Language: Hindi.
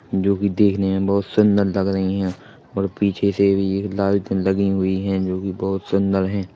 जो की देखने मे बहोत सुन्दर लग रही है और पीछे से भी एक लाइट लगी हुई है जो की बहोत सुन्दर है।